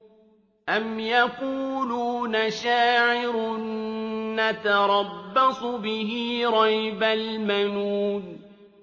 أَمْ يَقُولُونَ شَاعِرٌ نَّتَرَبَّصُ بِهِ رَيْبَ الْمَنُونِ